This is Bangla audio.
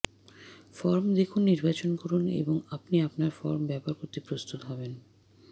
ফর্ম দেখুন নির্বাচন করুন এবং আপনি আপনার ফর্ম ব্যবহার করতে প্রস্তুত হবেন